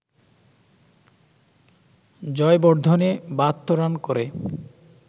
Jayawardene ৭২ run করে